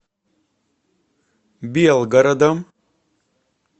белгородом